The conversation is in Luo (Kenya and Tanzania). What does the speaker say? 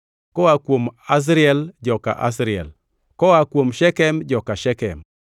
koa kuom Asriel, joka Asriel; koa kuom Shekem, joka Shekem;